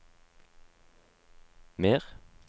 mer